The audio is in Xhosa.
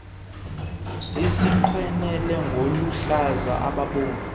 isiqwene ngoluhlaza obomvu